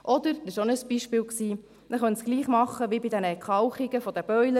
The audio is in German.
Oder – auch dies war ein Beispiel – man könne es gleich machen wie bei der Entkalkung von Boilern: